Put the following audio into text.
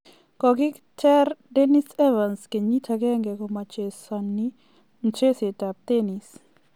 Kogiter Dan Evans keyiit agenge komachesoni mcheseet ab tenis.